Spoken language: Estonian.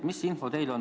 Mis info teil on?